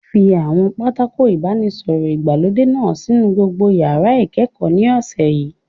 Fi àwọn pátákó ìbánisọ̀rọ̀ ìgbàlódé náà sínú gbogbo yàrá ìkẹ́kọ̀ọ́ ní ọ̀sẹ̀ yìí!